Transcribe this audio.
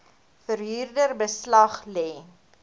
verhuurder beslag lê